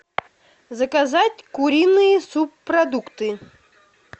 заказать куриные субпродукты